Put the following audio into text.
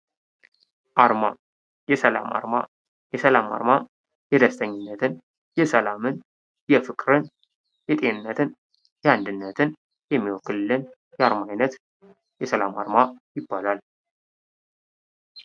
አርማ ፦ የሰላም አርማ ፦ የሰላም አርማ የደስተኝነትን ፣ የሰላምን ፣ የፍቅርን ፣ የጤንነትን፣ የአንድነትን የሚወክልልን የአርማ አይነት የሰላም አርማ ይባላል ።